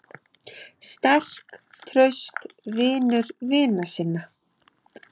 Sterk, traust, vinur vina sinna.